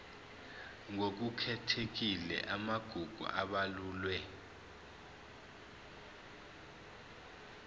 ngokukhethekile amagugu abalulwe